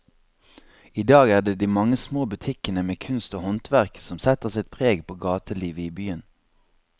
I dag er det de mange små butikkene med kunst og håndverk som setter sitt preg på gatelivet i byen.